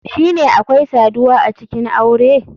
Shine akwai saduwa acikin aure?